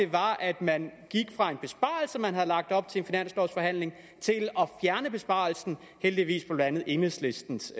var at man gik fra en besparelse man havde lagt op til i en finanslovsforhandling til at fjerne besparelsen heldigvis med blandt andet enhedslistens